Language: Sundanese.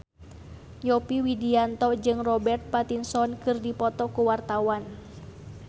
Yovie Widianto jeung Robert Pattinson keur dipoto ku wartawan